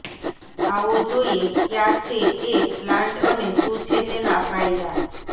આવો જોઇએ કયા છે એ પ્લાન્ટ અને શું છે તેના ફાયદા